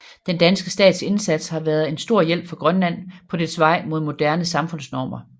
Den danske stats indsats har været en stor hjælp for Grønland på dets vej mod moderne samfundsformer